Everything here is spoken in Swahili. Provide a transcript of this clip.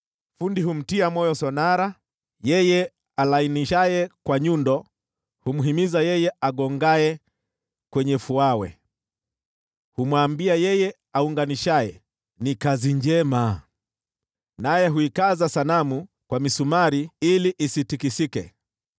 Fundi humtia moyo sonara, yeye alainishaye kwa nyundo humhimiza yeye agongeaye kwenye fuawe, Humwambia yeye aunganishaye, “Ni kazi njema.” Naye huikaza sanamu kwa misumari ili isitikisike.